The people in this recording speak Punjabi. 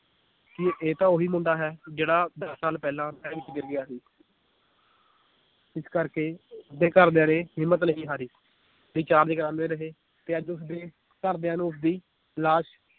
ਕਿ ਇਹ ਤਾਂ ਓਹੀ ਮੁੰਡਾ ਹੈ ਜਿਹੜਾ ਦਸ ਸਾਲ ਪਹਿਲਾਂ ਨਹਿਰ ਵਿੱਚ ਗਿਰ ਗਿਆ ਸੀ ਇਸ ਕਰਕੇ ਉਸਦੇ ਘਰਦਿਆਂ ਨੇ ਹਿੰਮਤ ਨਹੀਂ ਹਾਰੀ recharge ਕਰਾਂਦੇ ਰਹੇ ਤੇ ਅੱਜ ਉਸਦੇ ਘਰਦਿਆਂ ਨੂੰ ਉਸਦੀ ਲਾਸ਼